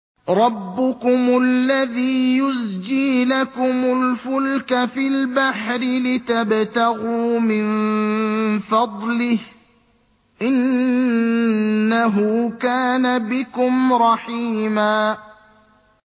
رَّبُّكُمُ الَّذِي يُزْجِي لَكُمُ الْفُلْكَ فِي الْبَحْرِ لِتَبْتَغُوا مِن فَضْلِهِ ۚ إِنَّهُ كَانَ بِكُمْ رَحِيمًا